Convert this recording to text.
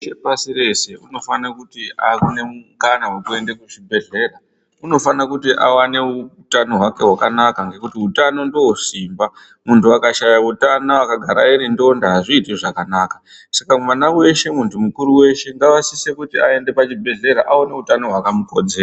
Muntu weshe pasi reshe unofana kuona mukana wekuenda kuzvibhendlera. Unofana kuti awanewo utano hwake hwakamukodzera. Nekuti utano ndiwo simba, muntu akashaya utano akagara iri ndonda hazviiti zvakanaka. Saka mwana weshe, muntu mukuru weshe ngaasise kuti aende kuchibhedhlera aone hutano hwakamukodzera.